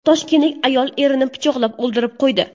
Toshkentlik ayol erini pichoqlab o‘ldirib qo‘ydi.